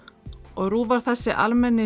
og RÚV var þessi almenni